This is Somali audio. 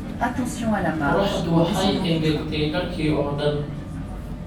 Qorraxdu waxay engegtay dharkii oo dhan